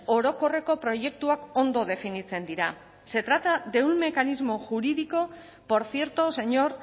orokorreko proiektuak ondo definitzen dira se trata de un mecanismo jurídico por cierto señor